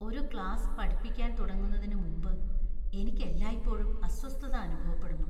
ഒരു ക്ലാസ്സ് പഠിപ്പിക്കാൻ തുടങ്ങുന്നതിനുമുമ്പ് എനിക്ക് എല്ലായ്പ്പോഴും അസ്വസ്ഥത അനുഭവപ്പെടുന്നു.